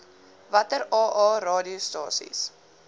watter aa radiostasies